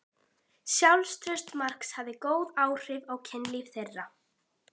Sjálfstraust Marks hafði góð áhrif á kynlíf þeirra.